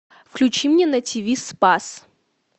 включи мне на тв спас